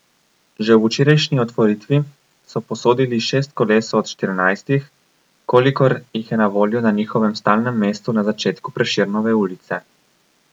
Že ob včerajšnji otvoritvi so posodili šest koles od štirinajstih, kolikor jih je na voljo na njihovem stalnem mestu na začetku Prešernove ulice.